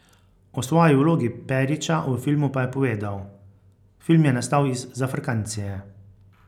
O svoji 'vlogi' Perića v filmu pa je povedal: 'Film je nastal iz 'zafrkancije'.